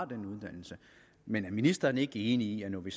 den uddannelse men er ministeren ikke enig i at når vi